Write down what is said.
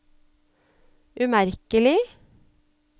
umerkelig